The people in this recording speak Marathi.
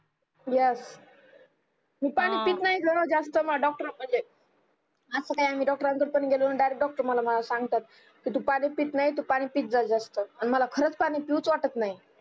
yes मी पानी पित नाही ग जास्त माय डॉक्टर अस काही मी डॉक्टर कड पण गेलो नाही डायरेक्ट डॉक्टर मला सांगतात की तू पानी पित नाही तू पानी पित जा जास्त अन मला खरंच पानी पिऊ च वाटत नाही